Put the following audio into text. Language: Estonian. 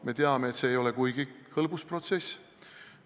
Me teame, et see ei ole kuigi hõlbus protsess.